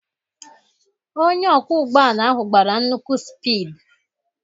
Onye ọkwọ ụgbọ ala ahụ gbara nnukwu spid.